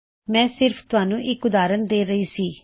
ਮੈ ਸਿਰਫ ਤੁਹਾਨੂੰ ਇੱਕ ਉਦਾਰਨ ਦੇ ਰਹੀ ਸੀ